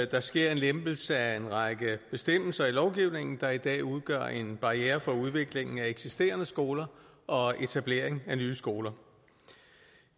der sker en lempelse af en række bestemmelser i lovgivningen der i dag udgør en barriere for udviklingen af eksisterende skoler og etablering af nye skoler